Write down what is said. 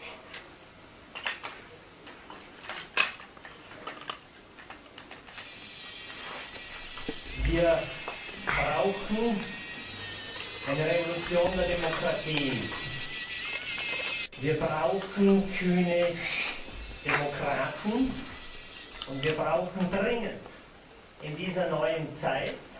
Herr Präsident! Wir brauchen eine Revolution der Demokratie. Wir brauchen kühne Demokraten und wir brauchen dringend in dieser neuen Zeit